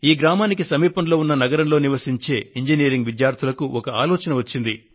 ఈ గ్రామానికి సమీపంలో ఉన్న నగరంలో నివసించే ఇంజినీరింగ్ విద్యార్థులకు ఒక ఆలోచన వచ్చింది